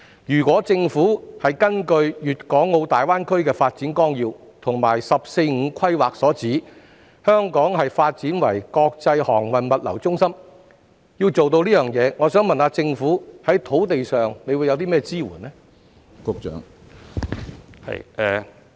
如果政府想達到《粵港澳大灣區發展規劃綱要》及國家"十四五"規劃提出將香港發展為國際航運物流中心的目標，請問政府在土地方面會提供甚麼支援呢？